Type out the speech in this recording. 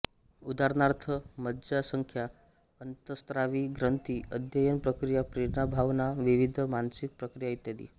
उदाहरणार्थ मज्जासंस्था अंतस्त्रावी ग्रंथी अध्ययन प्रक्रिया प्रेरणाभावनाविविध मानसिक प्रक्रिया इत्यादी